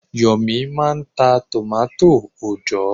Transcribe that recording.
Yomi máà ń ta tòmátò òòjọ́.